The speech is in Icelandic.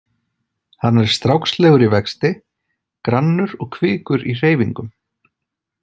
Hann er strákslegur í vexti, grannur og kvikur í hreyfingum.